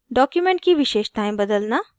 * document की विशेषतायें बदलना